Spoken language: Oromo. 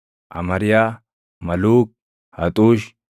Amariyaa, Maluuk, Haxuush,